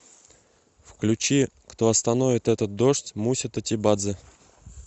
включи кто остановит этот дождь муся тотибадзе